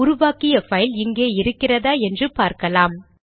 உருவாக்கிய பைல் இங்கே இருக்கிறதா என்று பார்க்கலாம்